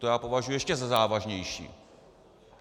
To já považuji za ještě závažnější.